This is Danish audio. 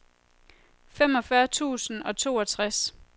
femogfyrre tusind og toogtres